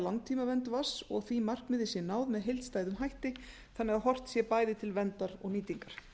langtímavernd vatns og að því markmiði sé náð með heildstæðum hætti þannig að horft sé bæði til verndar og nýtingar